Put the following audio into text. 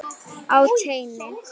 Á teini.